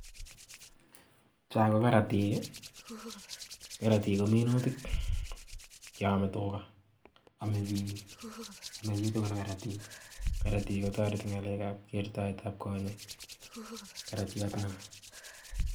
cho kokaratiek. karatiek ko minutik chopo tuga amei pik minutik ak karatiek. karatik kotareti eng ngalek ap kertaet ap kochek. karatiat notok.